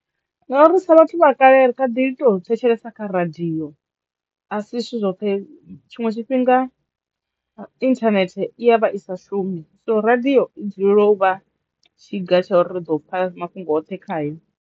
Ngauri sa vhathu vha kale kha ḓi to thetshelesa kha radio a si zwithu zwoṱhe tshiṅwe tshifhinga internet i ya vha i sa shumi so radiyo i dzulela u vha tshiga tsho ri ri ḓo u pfha mafhungo oṱhe khayo.